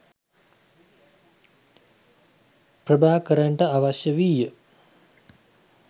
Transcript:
ප්‍රභාකරන්ට අවශ්‍ය වීය